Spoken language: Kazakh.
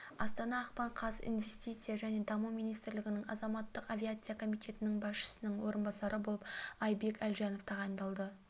астана ақпан қаз инвестиция және даму министрлігінің азаматтық авиация комитетінің басшысының орынбасары болып айбек әлжанов тағайындалды